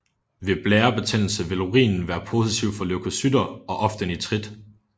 Ved blærebetændelse vil urinen være positiv for leukocytter og ofte nitrit